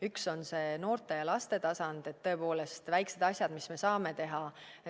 Üks on see noorte ja laste tasand, need väiksed asjad, mis me saame teha.